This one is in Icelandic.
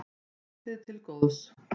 Hlaupið til góðs